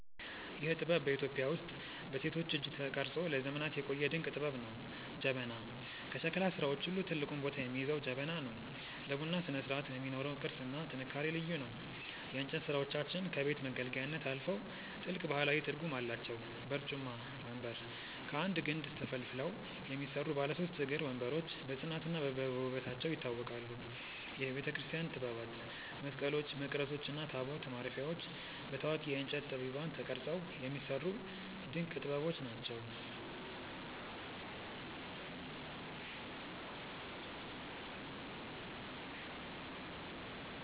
ይህ ጥበብ በኢትዮጵያ ውስጥ በሴቶች እጅ ተቀርጾ ለዘመናት የቆየ ድንቅ ጥበብ ነው። ጀበና፦ ከሸክላ ሥራዎች ሁሉ ትልቁን ቦታ የሚይዘው ጀበና ነው። ለቡና ስነስርዓት የሚኖረው ቅርጽና ጥንካሬ ልዩ ነው። የእንጨት ሥራዎቻችን ከቤት መገልገያነት አልፈው ጥልቅ ባህላዊ ትርጉም አላቸው። በርጩማ (ወንበር)፦ ከአንድ ግንድ ተፈልፍለው የሚሰሩ ባለ ሦስት እግር ወንበሮች በጽናትና በውበታቸው ይታወቃሉ። የቤተክርስቲያን ጥበባት፦ መስቀሎች፣ መቅረዞች እና ታቦት ማረፊያዎች በታዋቂ የእንጨት ጠቢባን ተቀርጸው የሚሰሩ ድንቅ ጥበቦች ናቸው።